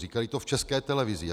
Říkali to v České televizi.